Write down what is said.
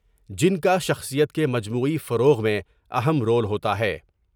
جن کا شخصیت کے مجموعی فروغ میں اہم رول ہوتا ہے ۔